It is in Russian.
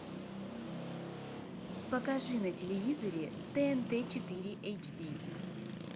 покажи на телевизоре тнт четыре эйч ди